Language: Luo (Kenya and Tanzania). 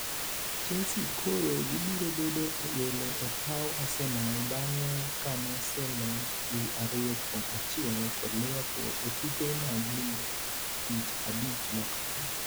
Chelsea koro gibiro bedo welo e paw Arsenal bang'e kanoselo gi ariyo kuom achiel kod Liverpool e tuke mag lig tich abich mokalo